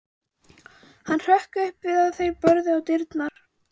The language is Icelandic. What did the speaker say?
Hann hrökk upp við að þeir börðu á dyrnar.